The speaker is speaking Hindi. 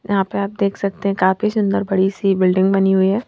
यहां पे आप देख सकते हैं काफी सुंदर बड़ी सी बिल्डिंग बनी हुई है।